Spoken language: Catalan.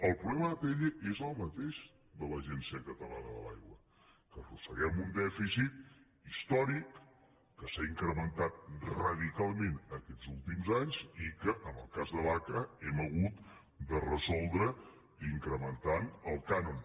el problema d’atll és el mateix de l’agència catalana de l’aigua que arrosseguem un dèficit històric que s’ha incrementat radicalment en aquests últims anys i que en el cas de l’aca hem hagut de resoldre incrementant el cànon